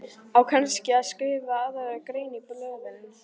Á kannski að skrifa aðra grein í blöðin?